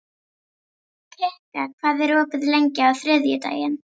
Kikka, hvað er opið lengi á þriðjudaginn?